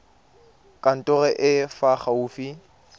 kantorong e e fa gaufi